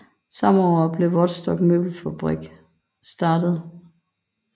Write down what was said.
Samme år blev Vodskov Møbelfabrik startet